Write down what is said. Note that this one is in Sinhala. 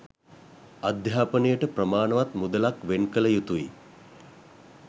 අධ්‍යාපනයට ප්‍රමාණවත් මුදලක් වෙන්කළ යුතුයි